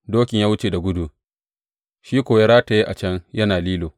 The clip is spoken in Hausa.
Dokin ya wuce da gudu, shi kuwa ya rataye a can yana lilo.